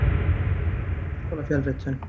Reykjavík: Háskólafjölritun.